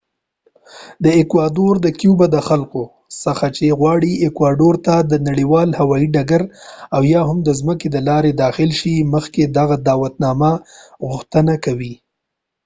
ایکوادور د کیوبا د خلکو څخه چی غواړی ایکواډور ته د نړیوال هوایی ډګر اویا هم د ځمکی د لاری داخل شی مخکی د دعوت نامی غوښتنه کوی